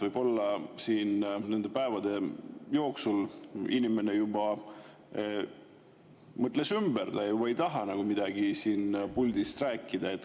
Võib-olla siin nende päevade jooksul inimene juba mõtles ümber, ta ei tahagi midagi siit puldist rääkida.